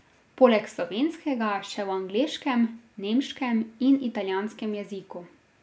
Poleg slovenskega še v angleškem, nemškem in italijanskem jeziku.